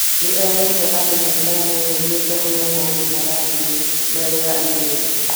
nĩerĩte andũ maikare mehũgĩte ũrĩa maũndũ marathiĩ Nile ya ithũĩro